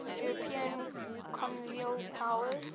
european colonial powers